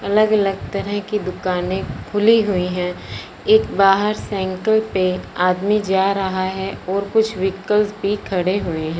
अलग अलग तरह की दुकाने खुली हुई हैं एक बाहर सांईकल पे आदमी जा रहा है और कुछ व्हीकल्स भी खड़े हुए हैं।